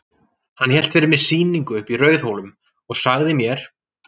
Hann hélt fyrir mig sýningu uppi í Rauðhólum og sagði mér.